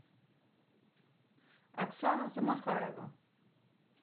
оксана замахаева